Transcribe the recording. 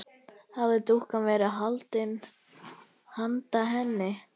Hafði dúkkan verið handa henni?